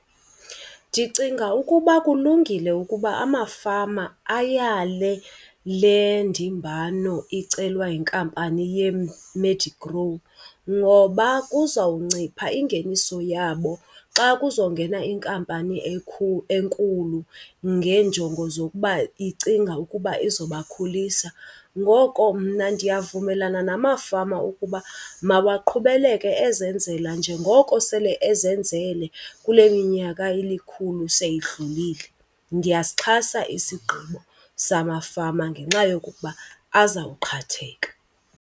Ndicinga ukuba kulungile ukuba amafama ayale le ndimbano icelwa yinkampani yeMedigrow ngoba kuzawuncipha ingeniso yabo xa kuzongena inkampani enkulu ngeenjongo zokuba icinga ukuba izobakhulisa. Ngoko mna ndiyavumelana namafama ukuba mawaqhubeleke ezenzela njengoko sele ezenzele kule minyaka ilikhulu seyidlulile. Ndiyasixhasa isigqibo samafama ngenxa yokuba azawuqhatheka.